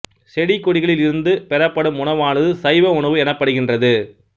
செடிகொடிகளில் இருந்து பெறப் படும் உணவானது சைவ உணவு எனப் படுகின்றது